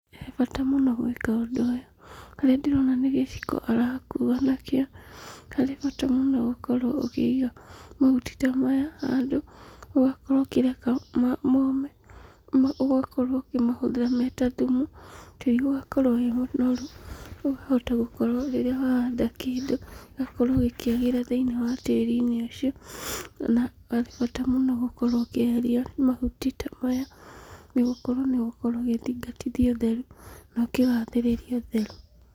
He bata mũno gwĩka ũndũ ũyũ, harĩa ndĩrona nĩ gĩciko arakuwa nakĩo, harĩ bata mũno gũkorwo ũkĩiga mahuti ta maya handũ, ũgakorwo ũkĩreka mome, ũgakorwo ũkĩmahũthĩra me ta thumu, tĩri ũgakorwo wĩ mũnoru, ũkahota gũkorwo rĩrĩa wahanda kĩndũ, gĩgakorwo gĩkĩagĩra thĩinĩ wa tĩri-inĩ ũcio, ona bata mũno gũkorwo ũkĩeheria mahuti ta maya, nĩgũkorwo nĩũgũkorwo ũgĩthingatithia ũtheru na ũkĩgathĩrĩria ũtheru.